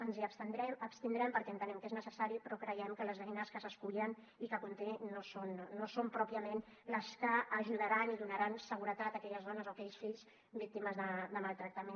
ens hi abstindrem perquè entenem que és necessari però creiem que les eines que s’escullen i que conté no són pròpiament les que ajudaran i donaran seguretat a aquelles dones o aquells fills víctimes de maltractament